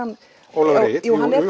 Ólafur Egill jú hann er